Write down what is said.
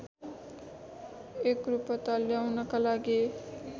एकरूपता ल्याउनका लागि